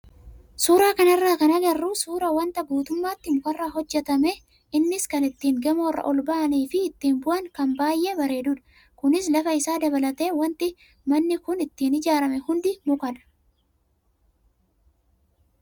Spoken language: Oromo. Suuraa kanarraa kan agarru suuraa wanta guutummaatti mukarraa hojjatame innis kan ittiin gamoorra ol bahanii fi ittiin bu'an kan baay'ee bareedudha. Kunis lafa isaa dabalatee wanti manni kun ittiin ijaarame hundi mukadha.